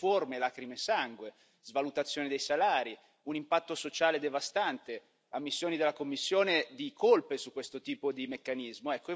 Di riforme, di lacrime e sangue, svalutazione dei salari, un impatto sociale devastante ammissioni della Commissione di colpe su questo tipo di meccanismo.